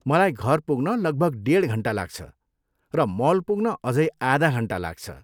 मलाई घर पुग्न लगभग डेढ घन्टा लाग्छ र मल पुग्न अझै आधा घन्टा लाग्छ।